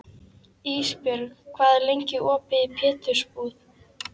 Ísbjörg, hvað er lengi opið í Pétursbúð?